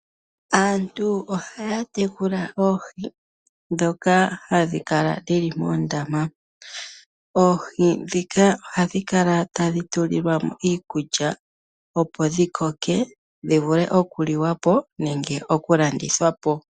Aantu ohaya tekula oohi ndhoka hadhi kala dhi li moondama. Oohi ndhika ohadhi kala tadhi tulilwa mo iikulya, opo dhi koke dhi vule okuliwa po nenge okulandithwa po.